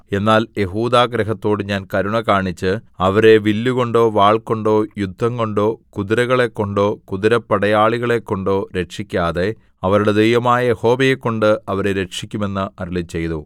എന്നാൽ യെഹൂദാഗൃഹത്തോട് ഞാൻ കരുണ കാണിച്ച് അവരെ വില്ലുകൊണ്ടോ വാൾകൊണ്ടോ യുദ്ധംകൊണ്ടോ കുതിരകളെക്കൊണ്ടോ കുതിരപ്പടയാളികളെക്കൊണ്ടോ രക്ഷിക്കാതെ അവരുടെ ദൈവമായ യഹോവയെക്കൊണ്ട് അവരെ രക്ഷിക്കും എന്ന് അരുളിച്ചെയ്തു